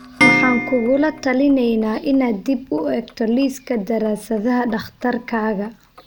Waxaan kugula talineynaa inaad dib u eegto liiska daraasadaha dhakhtarkaaga.